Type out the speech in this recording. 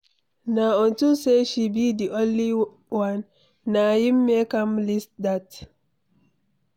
Na unto say she be the only one, na im make am like dat.